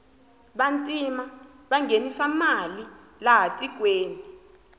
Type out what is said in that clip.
vantima vanghenisa mali laha tikweni